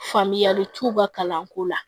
Faamuyali t'u ka kalanko la